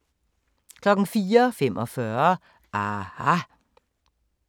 04:45: aHA!